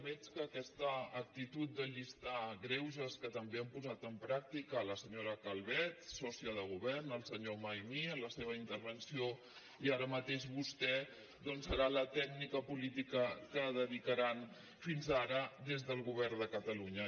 veig que aquesta actitud de llistar greuges que també han posat en pràctica la senyora calvet sòcia de govern el senyor maimí en la seva intervenció i ara mateix vostè doncs serà la tècnica política que dedicaran fins ara des del govern de catalunya